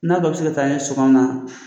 N'a dɔ bɛ se ka taa n ye sɔgɔma?